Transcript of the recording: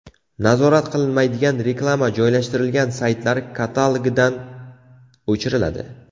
Nazorat qilinmaydigan reklama joylashtirilgan saytlar katalogidan o‘chiriladi.